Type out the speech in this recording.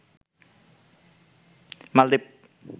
মালদ্বীপ